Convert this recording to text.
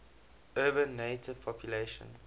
urban native population